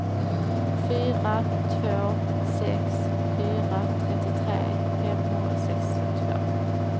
fyra två sex fyra trettiotre femhundrasextiotvå